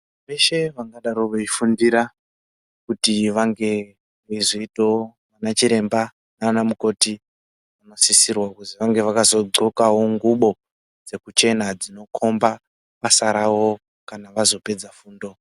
Veshe vangadai veifundira kuti vazoitawo ana chiremba nana mukoti vanosisirwa kuti vange vakagonkawo ngubo dzekuchena dzinokomba basa rawo kana vazopedza fundo yawo.